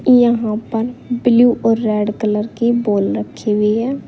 यहां पर ब्लू और रेड कलर की बॉल रखी हुई है।